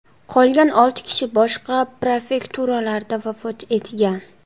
Qolgan olti kishi boshqa prefekturalarda vafot etgan.